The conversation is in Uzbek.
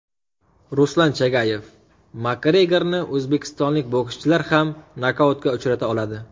Ruslan Chagayev: Makgregorni o‘zbekistonlik bokschilar ham nokautga uchrata oladi.